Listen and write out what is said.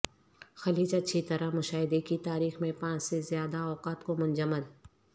خلیج اچھی طرح مشاہدے کی تاریخ میں پانچ سے زیادہ اوقات کو منجمد